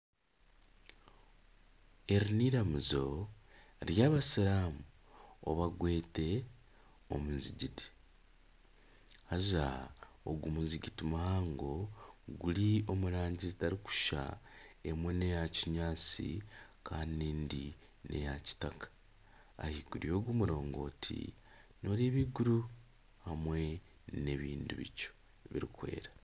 Eri n'eiramizo ry'abasiramu oba gwete omuzigiti haza ogu muzigiti muhango guri omu rangi zitarikushushana emwe n'eyakinyaatsi kandi endi n'eya kitaka, ahaiguru y'ogu murongoti nooreeba iguru hamwe n'ebindi bicu birikwera